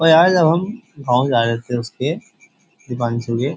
और यार जब हम गांव जा रहे थे उसके दिपानछू के --